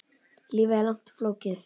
Lífið er langt og flókið.